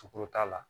Sukuru t'a la